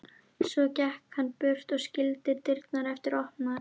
Svo gekk hann burt og skildi dyrnar eftir opnar.